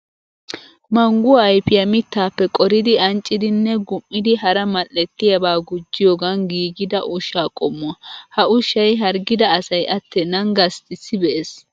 Mangguwa ayfiya mittaappe qoridi anccidi nne gum"idi hara mal"ettiyaba gujjiyoogan giigida ushshaa qommuwa. Ha ushshay harggida asay attennan gasttissi be'es.